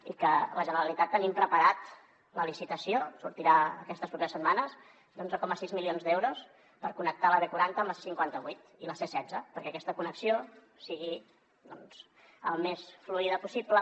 i la generalitat tenim preparada la licitació sortirà aquestes properes setmanes d’onze coma sis milions d’euros per connectar la b quaranta amb la c cinquanta vuit i la c setze perquè aquesta connexió sigui doncs el més fluida possible